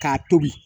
K'a tobi